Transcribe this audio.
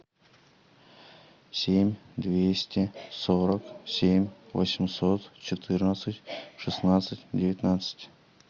семь двести сорок семь восемьсот четырнадцать шестнадцать девятнадцать